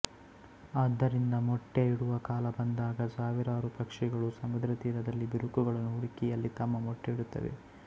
ಆದ್ದರಿಂದ ಮೊಟ್ಟೆ ಇಡುವ ಕಾಲ ಬಂದಾಗ ಸಾವಿರಾರು ಪಕ್ಷಿಗಳು ಸಮುದ್ರತೀರದಲ್ಲಿ ಬಿರುಕುಗಳನ್ನು ಹುಡುಕಿ ಅಲ್ಲಿ ತಮ್ಮ ಮೊಟ್ಟೆ ಇಡುತ್ತವೆ